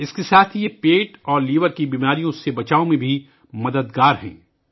اس کے ساتھ یہ معدے اور جگر کی بیماریوں سے بچاؤ میں بھی مددگار ہیں